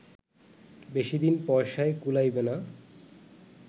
বেশিদিন পয়সায় কুলাইবে না